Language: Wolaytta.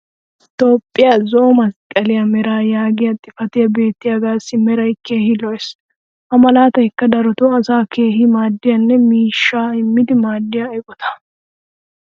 Toophphiya zo"o masqqliya meraa yaagiya xifatee beettiyaagassi meray keehi lo'ees. ha malaataykka darotoo asaa keehi maaddiyanne miishshaa immidi maadiyaa eqqota.